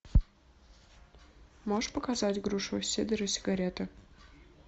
можешь показать грушевый сидр и сигареты